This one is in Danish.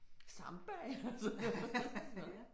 Samba og sådan noget